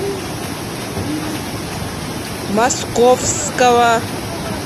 московского